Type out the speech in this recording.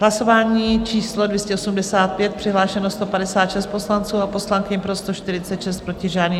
Hlasování číslo 285, přihlášeno 156 poslanců a poslankyň, pro 146, proti žádný.